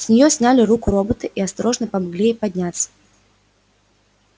с неё сняли руку робота и осторожно помогли ей подняться